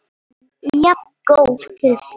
En jafngóð fyrir því!